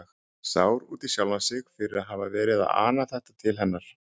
Sár út í sjálfan sig fyrir að hafa verið að ana þetta til hennar.